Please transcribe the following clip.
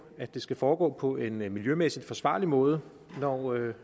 at det skal foregå på en miljømæssigt forsvarlig måde når